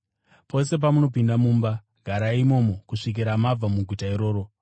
Pose pamunopinda mumba, garai imomo kusvikira mabva muguta iroro.